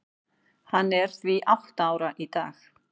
Hann er því átta ára í dag.